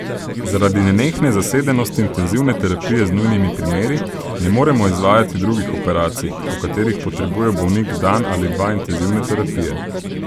Zaradi nenehne zasedenosti intenzivne terapije z nujnimi primeri ne moremo izvajati drugih operacij, po katerih potrebuje bolnik dan ali dva intenzivne terapije.